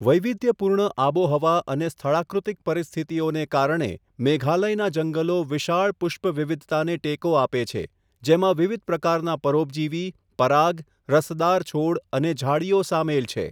વૈવિધ્યપૂર્ણ આબોહવા અને સ્થળાકૃતિક પરિસ્થિતિઓને કારણે, મેઘાલયનાં જંગલો વિશાળ પુષ્પ વિવિધતાને ટેકો આપે છે, જેમાં વિવિધ પ્રકારના પરોપજીવી, પરાગ, રસદાર છોડ અને ઝાડીઓ સામેલ છે.